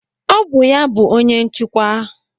Ọ bụ ya bụ onye nchịkwa.